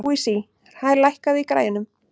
Louise, lækkaðu í græjunum.